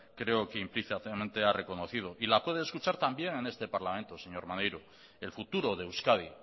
creo que implícitamente ha reconocido y la puede escuchar también en este parlamento señor maniero el futuro de euskadi